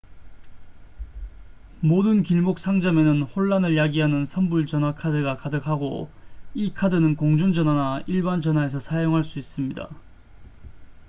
모든 길목 상점에는 혼란을 야기하는 선불 전화 카드가 가득하고 이 카드는 공중전화나 일반 전화에서 사용할 수 있습니다